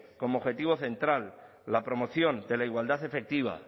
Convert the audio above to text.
como objetivo central la promoción de la igualdad efectiva